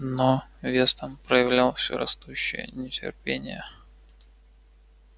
но вестон проявлял все растущее нетерпение